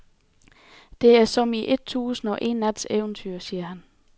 Det er som i et tusind og en nats eventyr, siger han.